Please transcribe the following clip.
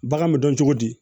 Bagan bɛ dɔn cogo di